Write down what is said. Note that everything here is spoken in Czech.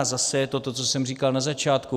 A zase je to to, co jsem říkal na začátku.